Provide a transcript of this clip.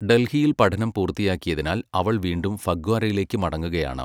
ഡൽഹിയിൽ പഠനം പൂർത്തിയാക്കിയതിനാൽ അവൾ വീണ്ടും ഫഗ്വാരയിലേക്ക് മടങ്ങുകയാണ്.